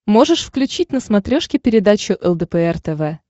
можешь включить на смотрешке передачу лдпр тв